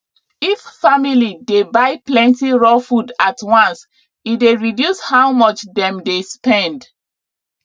if family dey buy plenty raw food at once e dey reduce how much dem dey spend